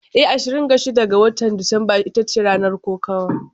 Eh, Ashirin da shida ga Disamba ita ce ranar kokawar.